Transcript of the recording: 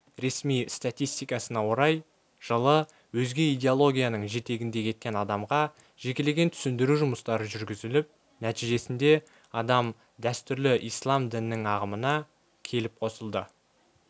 ресми статистикасына орай жылы өзге идеологияның жетегінде кеткен адамға жекелеген түсіндіру жұмыстары жүргізіліп нәтижесінде адам дәстүрлі ислам дінінің ағымына келіп қосылды